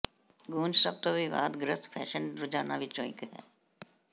grunge ਸਭ ਤੋਂ ਵਿਵਾਦਗ੍ਰਸਤ ਫੈਸ਼ਨ ਰੁਝਾਨਾਂ ਵਿੱਚੋਂ ਇੱਕ ਹੈ